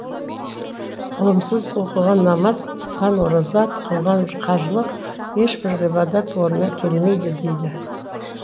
ғылымсыз оқыған намаз тұтқан ораза қылған қажылық ешбір ғибадат орнына келмейді дейді